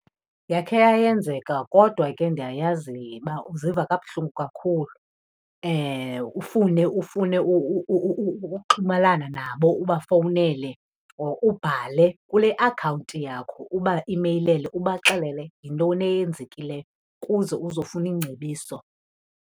Yakhe yayenzeka kodwa ke ndiyayazi uba uziva kabuhlungu kakhulu. Ufune, ufune uxhumelana nabo ubafowunele, or ubhale kule akhawunti yakho ubaimeyilele ubaxelele yintoni eyenzekileyo kuze uzofuna iingcebiso.